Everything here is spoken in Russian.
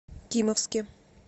кимовске